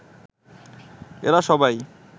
এরা সবাই